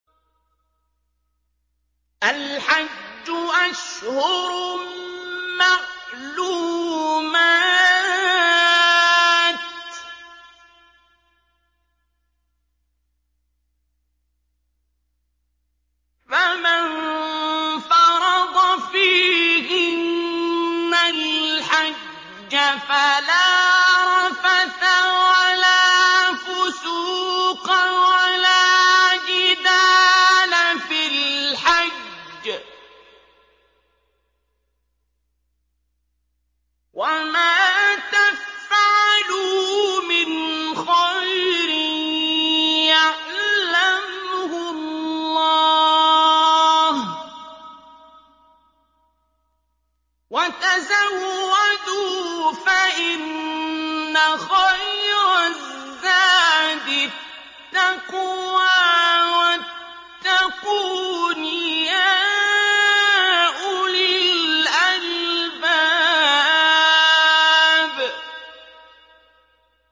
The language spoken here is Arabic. الْحَجُّ أَشْهُرٌ مَّعْلُومَاتٌ ۚ فَمَن فَرَضَ فِيهِنَّ الْحَجَّ فَلَا رَفَثَ وَلَا فُسُوقَ وَلَا جِدَالَ فِي الْحَجِّ ۗ وَمَا تَفْعَلُوا مِنْ خَيْرٍ يَعْلَمْهُ اللَّهُ ۗ وَتَزَوَّدُوا فَإِنَّ خَيْرَ الزَّادِ التَّقْوَىٰ ۚ وَاتَّقُونِ يَا أُولِي الْأَلْبَابِ